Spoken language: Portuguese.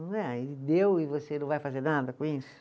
Não é, aí Ele deu e você não vai fazer nada com isso?